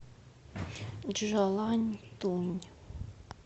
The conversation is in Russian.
чжаланьтунь